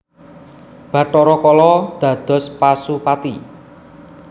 Bathara Kala dados Pasupati